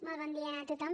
molt bon dia a tothom